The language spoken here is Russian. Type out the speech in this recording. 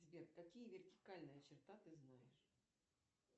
сбер какие вертикальные черта ты знаешь